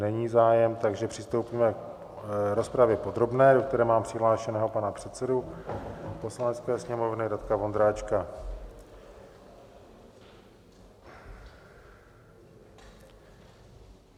Není zájem, takže přistoupíme k rozpravě podrobné, do které mám přihlášeného pana předsedu Poslanecké sněmovny Radka Vondráčka.